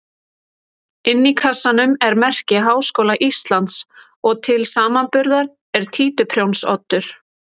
Inni í kassanum er merki Háskóla Íslands og til samanburðar er títuprjónsoddur.